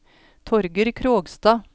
Torger Krogstad